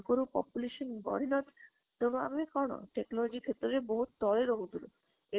ଆଗରୁ population ବଢି ନଥିଲା ତ ଆମେ କଣ technology ସେଟବେଳେ ବହୁତ ତଳେ ରହୁଥିଲୁ ଏତେ